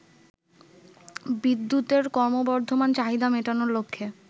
বিদ্যুতের ক্রমবর্ধমান চাহিদা মেটানোর লক্ষ্যে